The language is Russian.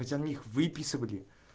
выписывали